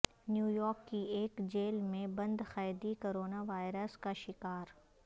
new York کی ایک جیل میں بند قیدی کرونا وائرس کا شکار